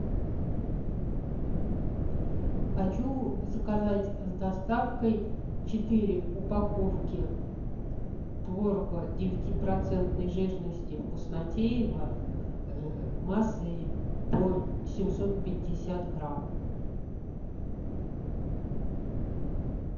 хочу заказать с доставкой четыре упаковки творога девятипроцентной жирности вкуснотеево массой по семьсот пятьдесят грамм